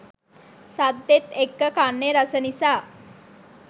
සද්දෙත් එක්ක කන්නෙ රස නිසා